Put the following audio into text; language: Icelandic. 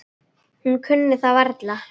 Hún kunni það varla.